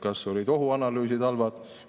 Kas olid ohuanalüüsid halvad?